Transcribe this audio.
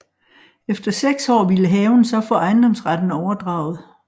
Efter seks år ville haven så få ejendomsretten overdraget